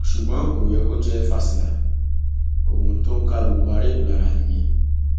ṣùgbọn kò yẹ kó jẹ fásilà ohun tó ń ká gbogbo ará èkó lára nìyẹn